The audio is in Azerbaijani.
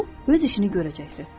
Və o öz işini görəcəkdir.